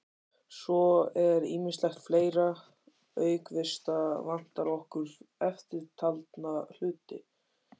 Svo er ýmislegt fleira: Auk vista vantar okkur eftirtalda hluti